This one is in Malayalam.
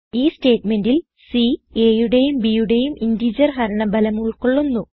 ഈ സ്റ്റേറ്റ്മെന്റിൽ സി a യുടെയും b യുടെയും ഇന്റഗർ ഹരണ ഫലം ഉൾകൊള്ളുന്നു